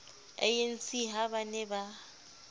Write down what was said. anc ha ba ne ba